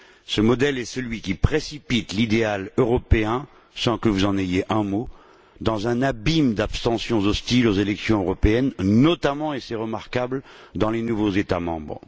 Ce modèle est celui qui précipite l'idéal européen, sans que vous n'en disiez un mot, dans un abîme d'abstentions hostiles aux élections européennes, notamment, et c'est remarquable, dans les nouveaux États membres.